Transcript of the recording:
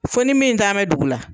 Fɔ ni min tan bɛ dugu la